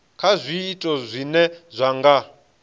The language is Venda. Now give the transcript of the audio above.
kha zwiito zwine zwa nga